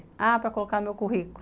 Ah, para colocar no currículo.